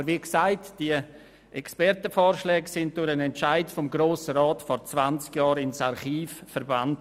Aber wie gesagt wurden diese Expertenvorschläge durch den Entscheid des Grossen Rats vor 20 Jahren ins Archiv verbannt.